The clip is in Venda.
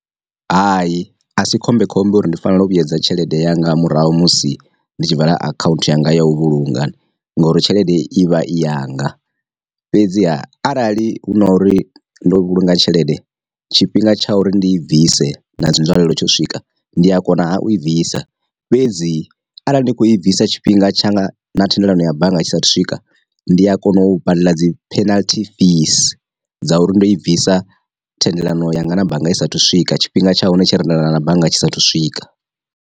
Hai a si khombe khombe uri ndi fanela u vhuyedza tshelede yanga murahu musi ndi tshi vala akhaunthu yanga ya u vhulunga ngouri tshelede i vha i yanga, fhedziha arali hu na uri ndo vhulunga tshelede tshifhinga tsha uri ndi i bvise na dzi nzwalelo tsho swika ndi a kona u i bvisa, fhedzi arali ni kho i bvisa tshifhinga tsha na thendelano ya bannga tshisa thu swika ndi a kona u badela dzi penalty fees, dza uri ndo i bvisa thendelano ya nga na bannga i sa athu u swika tshifhinga tsha hone tshe ra tendelana bannga tshisa thu swika.